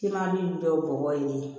K'i ma min bɛ bɔ yen de